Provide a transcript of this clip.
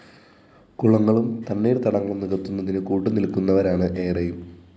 കുളങ്ങളും തണ്ണീര്‍ത്തടങ്ങളും നികത്തുന്നതിന് കൂട്ടുനില്‍ക്കുന്നവരാണ് ഏറെയും